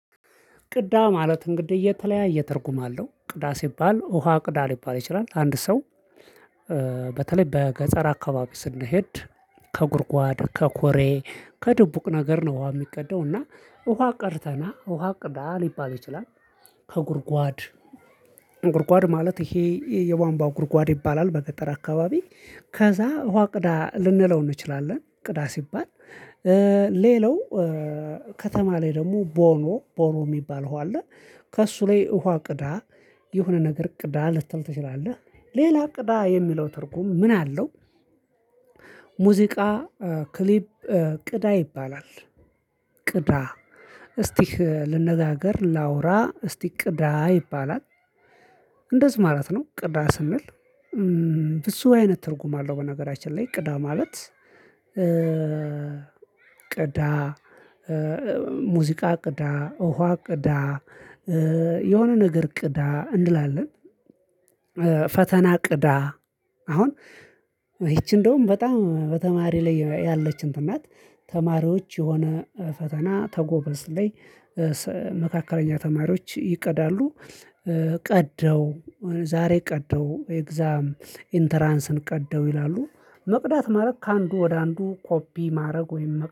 ቅዳ ማለት እንግዲህ እየተለያየ ተርጉማለሁ ቅዳ ሲባል ውሃ ቅዳ ሊባል ይችላል አንድ ሰው በገጠር አካባቢ ስንሄድ ከጉድጓድ ከኩሬ ከድቡቅ ነገር ነው ውሃ የሚቀደው እና ውሃ ቀድተህና ውሃ ቅዳ ሊባል ይችላል። ከጉድጓድ ጉድጓድ ማለት ይሄ የቧንቧ ጉድጓድ ይባላል በገጠር አካባቢ ከዛ ውሃ ቅዳ ልንለው እንችላለን ቅዳ ሲባል። ሌላው ከተማ ላይ ደግሞ ቦኖ ቦኖ የሚባል ውሃ ከእሱ ላይ ውሃ ቅዳ የሆነ ነገር ቅዳ ልትል ትችላለህ። ሌላ ቅዳ የሚለው ትርጉም ምን አለው? ሙዚቃ ክሊፕ ቅዳ ይባላል። እስቲ ልነጋገር ላውራ እስቲ ቅዳ ይባላል። ማለት ነው ቅዳ ስንል ብዙ አይነት ትርጉም አለው። በነገራችን ላይ ቅዳ ማለት። ቅዳ ሙዚቃ ቅዳ ውሃ ቅዳ የሆነ ነገር ቅዳ እንላለን። ፈተና ቅዳ። አሁን ይቺ እንደውም በጣም በተማሪ ላይ ያለች እንትን ናት። ተማሪዎች የሆነ ፈተና ከጎበዝ ላይ መካከለኛ ተማሪዎች ይቀዳሉ። ቀዳው ዛሬ ቀዳው ኤግዛም ኢንተራንስን ቀዳው ይላሉ። መቅዳት ማድረግ ከአንዱ ወደ አንዱ ኮፒ ማድረግ ወይም